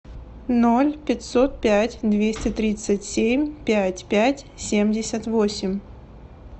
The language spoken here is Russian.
ноль пятьсот пять двести тридцать семь пять пять семьдесят восемь